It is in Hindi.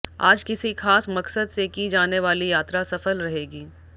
आज किसी खास मकसद से की जाने वाली यात्रा सफल रहेगी